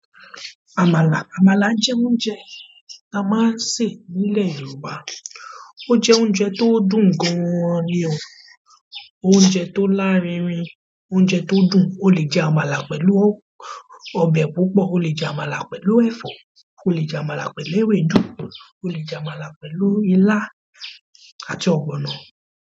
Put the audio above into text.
Àmàlà, àmàlà jẹ́ oúnjẹ ti a máa ń ṣè nílẹ̀ Yorùbá. Ó jẹ oúnjẹ tó dùn gan ni o. Oúnjẹ tó lárinrin, oúnjẹ tó dùn. O lè jẹ àmàlà pẹ̀lú ọbẹ̀ púpọ̀, o lè jẹ àmàlà pẹ̀lú ẹ̀fọ́, o lè jẹ àmàlà pẹ̀lú ewédú, o lè jẹ àmàlà pẹ̀lú ilá àti ọ̀gbọ̀nọ̀.